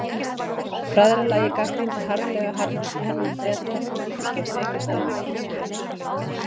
Bræðralagið gagnrýndi harðlega hernám Breta sem ríkisstjórn Egyptalands hins vegar studdi.